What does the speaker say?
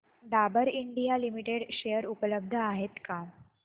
Dabur India limited share उपलब्ध आहेत का